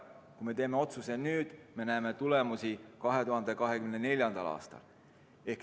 Kui me teeme otsuse nüüd, siis me näeme tulemusi 2024. aastal.